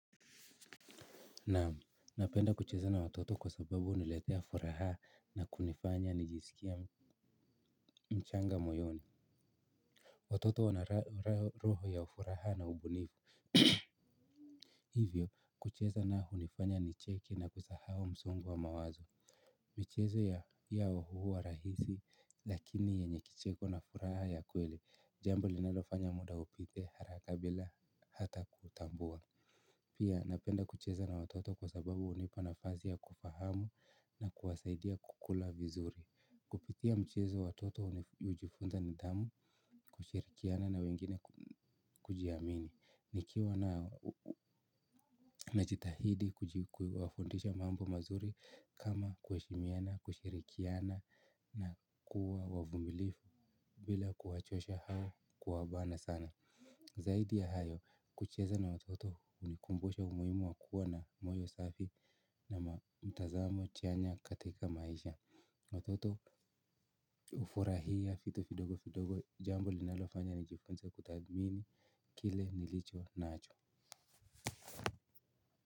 Naam napenda kucheza na watoto kwa sababu huniletea furaha na kunifanya nijiskie mchanga moyoni watoto wana roho ya ufuraha na ubunifu hivyo, kucheza nao hunifanya nicheke na kusahau msongo wa mawazo michezo yao huwa rahisi lakini yenye kicheko na furaha ya kweli jambo linalofanya muda upite haraka bila hata kutambua pia napenda kucheza na watoto kwa sababu hunipa nafasi kufahamu na kuwasaidia kukula vizuri kupitia mchezo watoto hujifunza nidhamu, kushirikiana na wengine kujiamini nikiwa na jitahidi kujifundisha mambo mazuri kama kuheshimiana, kushirikiana na kuwa wavumilivu bila kuwachosha au kuwabana sana zaidi ya hayo kucheza na watoto hunikumbusha umuhimu wa kuwa na moyo safi na mtazamo chanya katika maisha watoto hufurahia vitu vidogo vidogo jambo linalofanya nijifunze kuthamini kile nlicho nacho.